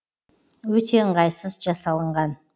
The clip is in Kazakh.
өте ыңғайсыз жасалынған